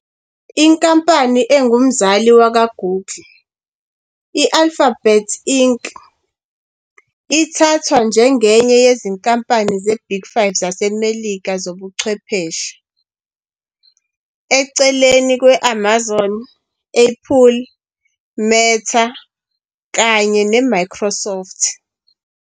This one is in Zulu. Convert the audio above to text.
Inkampani engumzali wakwaGoogle i-Alphabet Inc. ithathwa njengenye yezinkampani zeBig Five zaseMelika zobuchwepheshe, eceleni kwe-Amazon, Apple, Meta kanye neMicrosoft.